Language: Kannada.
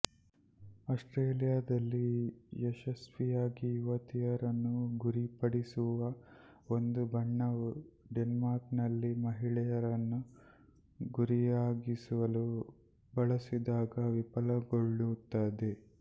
ಆಸ್ಟ್ರೇಲಿಯಾದಲ್ಲಿ ಯಶಸ್ವಿಯಾಗಿ ಯುವತಿಯರನ್ನು ಗುರಿಪಡಿಸುವ ಒಂದು ಬಣ್ಣವು ಡೆನ್ಮಾರ್ಕ್ನಲ್ಲಿ ಮಹಿಳೆಯರನ್ನು ಗುರಿಯಾಗಿಸಲು ಬಳಸಿದಾಗ ವಿಫಲಗೊಳ್ಳುತ್ತದೆ